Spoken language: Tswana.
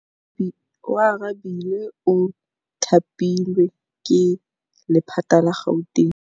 Oarabile o thapilwe ke lephata la Gauteng.